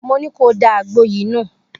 Mo ní kó o da àgbo yìí nù